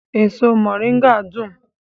Èso moringa dùn